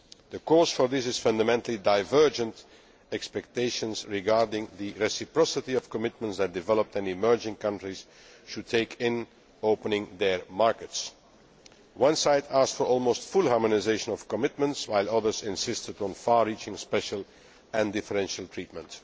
The cause for this is fundamentally divergent expectations regarding the reciprocity of commitments that developed and emerging countries should make in opening their markets one side asked for almost full harmonisation of commitments, while others insisted on far reaching special and differential treatment.